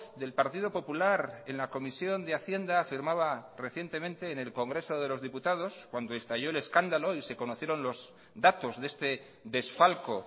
del partido popular en la comisión de hacienda afirmaba recientemente en el congreso de los diputados cuando estalló el escándalo y se conocieron los datos de este desfalco